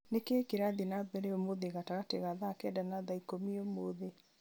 nĩ kĩĩ kĩrathiĩ na mbere ũmũthĩ gatagatĩ ga thaa kenda na thaa ikũmi ũmũthĩ